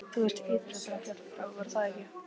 Þú varst ytra þegar hann féll frá, var það ekki?